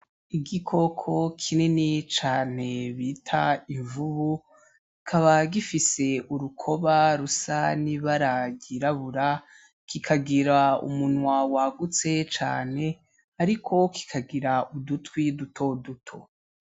Igikoko kinini cane bita imvubu kikaba gifise urukoba rusa n'ibara ryirabura kikagira umunwa wagutse cane, ariko kikagira udutwi duto duto.